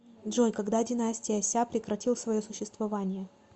джой когда династия ся прекратил свое существование